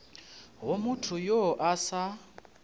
go motho yo a sa